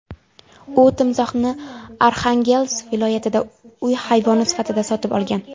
U timsohni Arxangelsk viloyatida uy hayvoni sifatida sotib olgan.